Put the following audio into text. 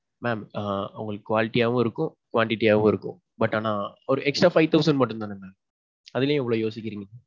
mam ah உங்களுக்கு quality யாவும் இருக்கும் quantity யாவும் இருக்கும். But ஆனா ஒரு extra five thousand மட்டும் தானே mam. அதுல ஏன் இவ்வளவு யோசிக்கிறீங்க?